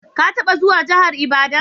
Ka taba zuwan jihar Ibadan?